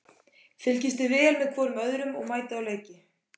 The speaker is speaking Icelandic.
Fylgist þið vel með hvorum öðrum og mætið á leiki?